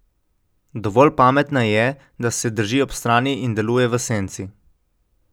Dovolj pametna je, da se drži ob strani in deluje v senci.